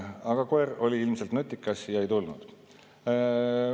Aga koer oli ilmselt nutikas ja ei tulnud.